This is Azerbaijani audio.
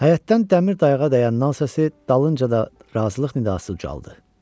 Həyətdən dəmir dayağa dəyən nan səsi, dalınca da razılıq nidası ucaldı.